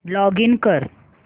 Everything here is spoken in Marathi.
लॉगिन कर